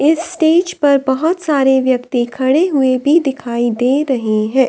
इस स्टेज पर बहोत सारे व्यक्ति खड़े हुए भी दिखाई दे रहे हैं।